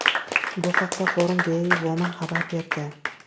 Bu haqda Forum Daily Woman xabar berdi .